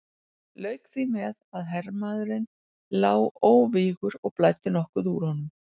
Lauk því með að hermaðurinn lá óvígur og blæddi nokkuð úr honum.